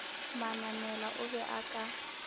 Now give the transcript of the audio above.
manamela o be a ka